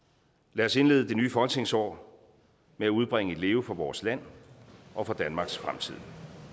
lad os indlede det nye folketingsår med at udbringe et leve for vores land og for danmarks fremtid